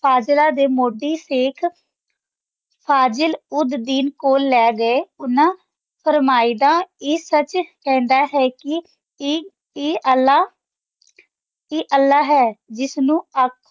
ਹਾਜਰਾ ਦੇ ਮੋਦੀ ਸ਼ੇਇਖ ਫ਼ਜ਼ਲ ਉੜ ਦਿਨ ਕੋਲ ਲੇ ਗਾਯ ਓਹਨਾਂ ਫਾਰ੍ਮੈਦਾ ਆਯ ਸਚ ਕਹੰਦਾ ਆਯ ਕੀ ਕੀ ਆਯ ਅਲ੍ਲਾਹ ਆਯ ਅਲ੍ਲਾਹ ਹੈ ਜਿਸ ਨੂ ਅਖ